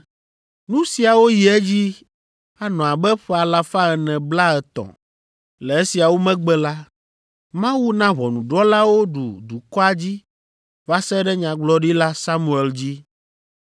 Nu siawo yi edzi anɔ abe ƒe alafa ene blaetɔ̃ (450). Le esiawo megbe la, Mawu na ʋɔnudrɔ̃lawo ɖu dukɔa dzi va se ɖe Nyagblɔɖila Samuel dzi.